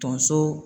Tonso